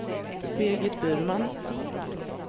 Birgit Burman